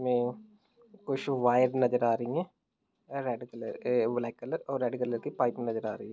में कुछ वायर नजर आ रही हैं रेड ब्लेक कलर और रेड कलर कि पाइपिंग नजर आ रही है।